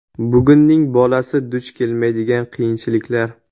Bugunning bolasi duch kelmaydigan qiyinchiliklar .